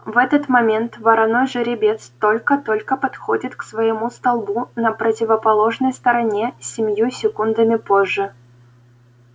в этот момент вороной жеребец только-только подходит к своему столбу на противоположной стороне семью секундами позже